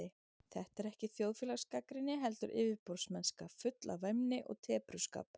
Þetta er ekki þjóðfélagsgagnrýni, heldur yfirborðsmennska, full af væmni og tepruskap.